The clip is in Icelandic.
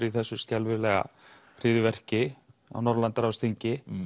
í þessu skelfilega hryðjverki á Norðurlandaráðsþingi